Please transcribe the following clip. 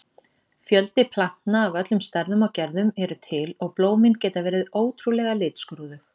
Fjöldi plantna af öllum stærðum og gerðum eru til og blómin geta verið ótrúlega litskrúðug.